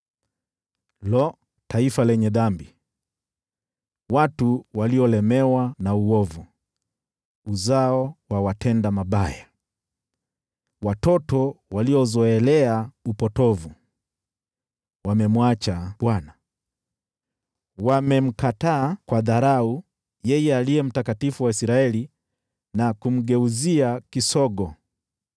Lo! Taifa lenye dhambi, watu waliolemewa na uovu, uzao wa watenda mabaya, watoto waliozoelea upotovu! Wamemwacha Bwana , Wamemkataa kwa dharau yeye Aliye Mtakatifu wa Israeli na kumgeuzia kisogo.